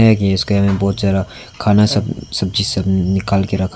है कि इस घर में बहुत ज्यादा खाना सब सब्जी सब निकाल के रखा।